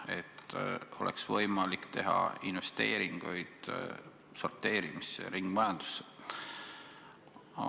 Siis on võimalik teha investeeringuid sorteerimisse ja ringmajandusse.